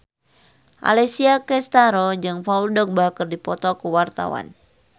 Alessia Cestaro jeung Paul Dogba keur dipoto ku wartawan